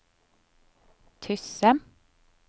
Tysse